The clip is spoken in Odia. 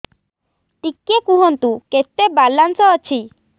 ଟିକେ କୁହନ୍ତୁ କେତେ ବାଲାନ୍ସ ଅଛି